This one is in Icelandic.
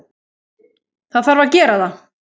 Það þarf að gera það.